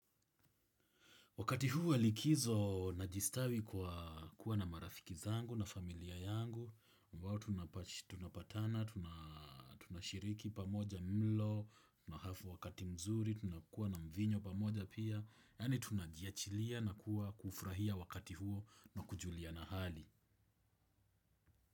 Wakati huu wa likizo najistawi kwa kuwa na marafiki zangu na familia yangu, ambao tunapatana, tunashiriki pamoja mlo, tunahafu wakati mzuri, tunakuwa na mvinyo pamoja pia, yaani tunajiachilia na kuwa kufurahia wakati huo na kujuliana hali.